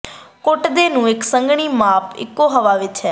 ਕੁੱਟਦੇ ਨੂੰ ਇੱਕ ਸੰਘਣੀ ਮਾਪ ਇਕੋ ਹਵਾ ਵਿੱਚ ਹੈ